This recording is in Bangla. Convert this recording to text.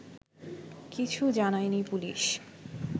কিছু জানায়নি পুলিশ